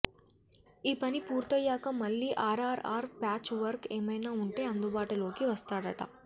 ఆ పని పూర్తయ్యాక మళ్లీ ఆర్ఆర్ఆర్ ప్యాచ్ వర్క్ ఏమైనా ఉంటే అందుబాటులోకి వస్తాడట